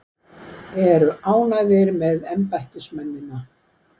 Eru ánægðir með embættismennina